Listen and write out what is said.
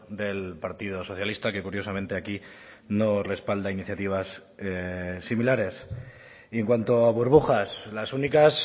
del partido socialista que curiosamente aquí no respalda iniciativas similares y en cuanto a burbujas las únicas